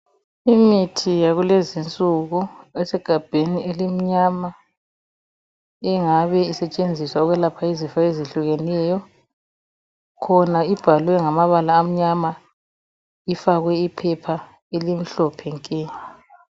Imithi yakulezi insuku esegabheni elimnyama engabe isetshenziswa ukwelapha izifo ezehlukeneyo. Khona ibhalwe ngamabala amnyama ifakwe iphepha elimhlophe nke.